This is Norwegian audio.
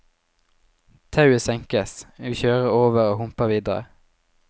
Tauet senkes, vi kjører over og humper videre.